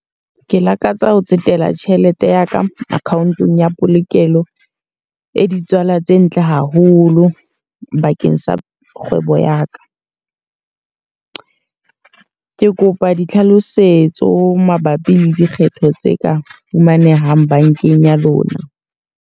Ke lakatsa ho tsetela tjhelete ya ka account-ong ya polokelo e di tswala tse ntle haholo bakeng sa kgwebo ya ka. Ke kopa tlhalosetso mabapi le dikgetho tse ka fumanehang bankeng ya lona.